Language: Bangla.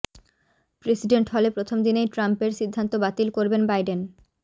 প্রেসিডেন্ট হলে প্রথম দিনই ট্রাম্পের সিদ্ধান্ত বাতিল করবেন বাইডেন